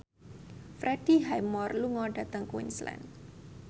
Freddie Highmore lunga dhateng Queensland